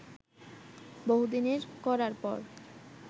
বহুদিনের খরার পর